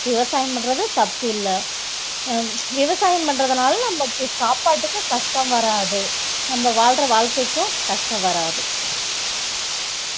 விவசாயம் பண்றது தப்பில்லை அஹ் விவசாயம் பண்றதுனால நமக்கு சாப்பாட்டுக்கு கஷ்டம் வராது நம்ம வாழுற வாழ்க்கைக்கும் கஷ்டம் வராது